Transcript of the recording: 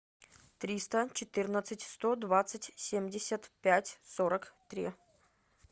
триста четырнадцать сто двадцать семьдесят пять сорок три